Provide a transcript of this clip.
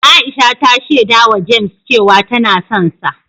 Aisha ta shaidawa James cewa tana sonsa.